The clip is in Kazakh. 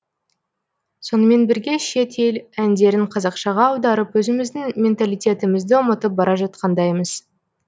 сонымен бірге шет ел әндерін қазақшаға аударып өзіміздің менталитетімізді ұмытып бара жатқандаймыз